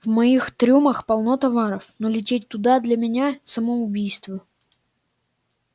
в моих трюмах полно товаров но лететь туда для меня самоубийство